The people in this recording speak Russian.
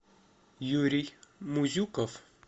юрий музюков